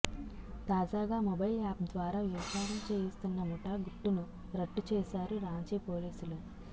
తాజాగా mobile app ద్వారా వ్యభిచారం చేయిస్తున్న ముఠా గుట్టును రట్టు చేశారు రాంచీ పోలీసులు